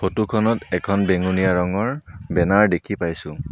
Photo খনত এখন বেঙুনীয়া ৰঙৰ বেনাৰ দেখি পাইছোঁ।